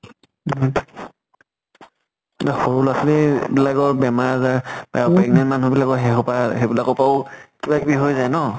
এতিয়া সৰু লʼৰা ছোৱালী বিলাকৰ বেমাৰ আজাৰ আ pregnant মানুহ বিলাকৰ সেই খোপা সেইবিলাকৰ পাউ কিবা কিবি হৈ যায় ন।